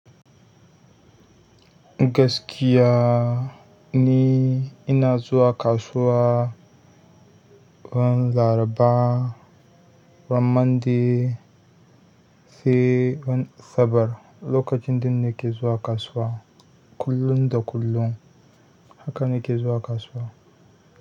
Gaskiya ni ina zuwa kasuwa ran Laraba, ran Monday sai ran Asabar. Lokacin ɗin na ke zuwa kasuwa kullum da kullum haka nake zuwa kasuwa.